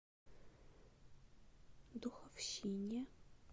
духовщине